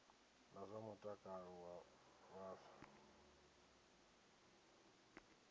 na zwa mutakalo wa vhaswa